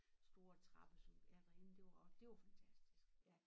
Store trappe sådan ja derinde det var det var fantastisk